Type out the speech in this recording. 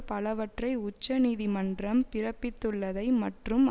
பலவற்றை உச்ச நீதிமன்றம் பிறப்பித்துள்ளதை மற்றும்